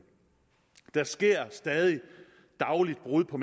der sker stadig dagligt brud på